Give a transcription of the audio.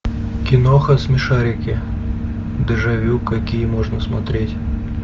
киноха смешарики дежавю какие можно смотреть